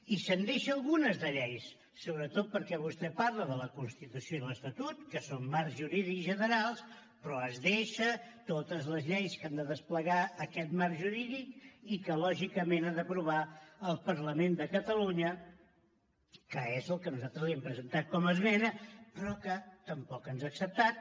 i se’n deixa algunes de lleis sobretot perquè vostè parla de la constitució i l’estatut que són marcs jurídics generals però es deixa totes les lleis que han de desplegar aquest marc jurídic i que lògicament ha d’aprovar el parlament de catalunya que és el que nosaltres li hem presentat com a esmena però que tampoc ens ha acceptat